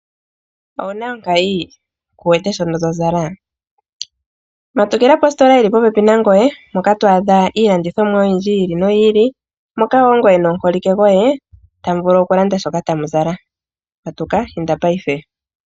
Ouna onkayi? Kuwete shono tozala? Matukila kositola yili popepi nangoye moka twaadha iilandithomwa oyindji yi ili noyi ili moka wo ngoye nomuholike goye tamu vulu okulanda shoka tamu zala. Matuka inda ngashingeyi.